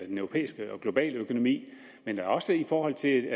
den europæiske og globale økonomi men da også i forhold til